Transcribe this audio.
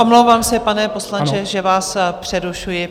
Omlouvám se, pane poslanče, že vás přerušuji.